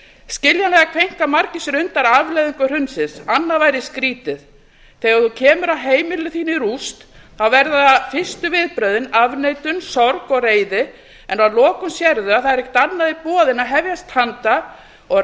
skiljanlega kveinka margir sér undan afleiðingum hrunsins annað væri skrýtið þegar þú kemur að heimili þínu í rúst verða fyrstu viðbrögðin afneitun sorg og reiði en að lokum sérðu að það er ekkert annað í boði en að hefjast handa og